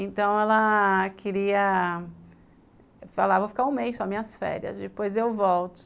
Então, ela... queria... Falava, vou ficar um mês só minhas férias, depois eu volto.